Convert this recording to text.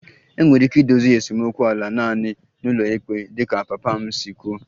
Enwere ike idozi esemokwu ala a naanị n'ụlọikpe dịka papa m si kwuo